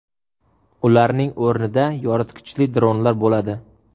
Ularning o‘rnida yoritgichli dronlar bo‘ladi .